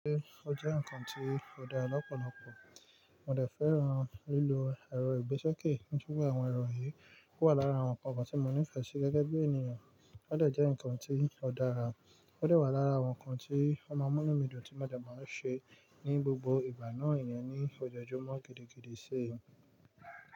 Ṣé ó jẹ́ ǹkan tí ó dára lọ́pọ̀lọpọ̀, mo dè fẹ́ràn lílo ẹ̀rọ ìgbésókè nítorí àwọn ẹ̀rọ yìí wà lára àwọn ǹkan tí mo nífẹ̀ẹ́ sí gẹ́gẹ́ bí ènìyàn. Ó dè jẹ́ ǹkan tí ó dára, ó dè wà lára àwọn ǹkan tí ó máa múnu mí dùn tí mo dè máa ṣe ní gbogbo ìgbà náà iyẹn ní ọjọ́júmọ́ gidigidi sí.